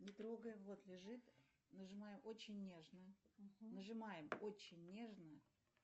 не трогай вот лежит нажимаем очень нежно нажимаем очень нежно